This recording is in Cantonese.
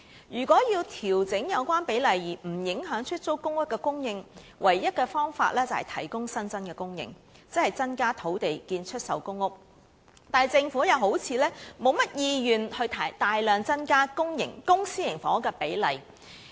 如果要調整有關比例而不影響出租公屋的供應，唯一方法是增加供應，即提供更多土地興建出售公屋，但政府又好像沒有甚麼意願大量增加公、私營房屋的比例。